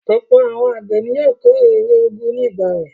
Ọ̀pọ̀ àwọn àgbẹ̀ ni yóò kórè ewé úgú ní ìgbà rẹ̀.